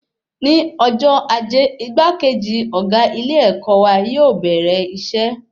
Ní ọjọ́ ajé, igbakeji ọgá ilé-èkó wa yóò bẹrẹ iṣẹ